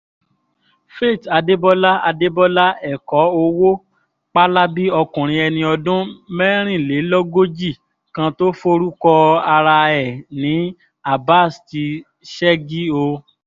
faith adébọlá adébọlá ẹ̀kọ́ owó pálábí ọkùnrin ẹni ọdún mẹ́rìnlélógójì kan tó forúkọ ara ẹ̀ ní abas ti ṣẹ́gi o